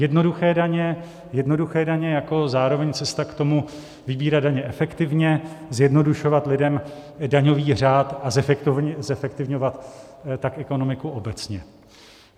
Jednoduché daně jako zároveň cesta k tomu vybírat daně efektivně, zjednodušovat lidem daňový řád, a zefektivňovat tak ekonomiku obecně.